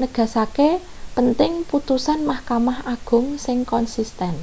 negasake pentinge putusan mahkamah agung sing konsisten